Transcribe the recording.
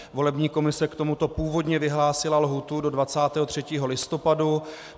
Volební komise k tomuto původně vyhlásila lhůtu do 23. listopadu.